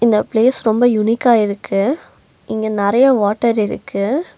இந்த பிளேஸ் ரொம்ப யுனிக்கா இருக்கு இங்க நெறையா வாட்டர் இருக்கு.